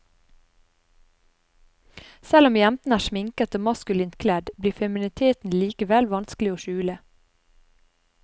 Selv om jentene er sminket og maskulint kledd, blir femininiteten likevel vanskelig å skjule.